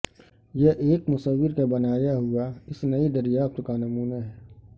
یہ ایک مصور کا بنایا ہوا اس نئی دریافت کا نمونہ ہے